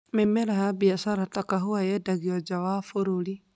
Mĩmera ya biacara ta kahũa yendagio nja ya bũrũri.